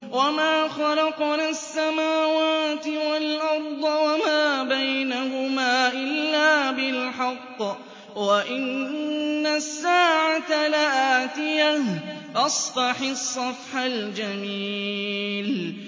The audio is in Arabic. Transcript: وَمَا خَلَقْنَا السَّمَاوَاتِ وَالْأَرْضَ وَمَا بَيْنَهُمَا إِلَّا بِالْحَقِّ ۗ وَإِنَّ السَّاعَةَ لَآتِيَةٌ ۖ فَاصْفَحِ الصَّفْحَ الْجَمِيلَ